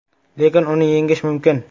Lekin uni yengish mumkin.